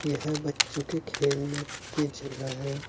यह बच्चों के खेलने की जगह है।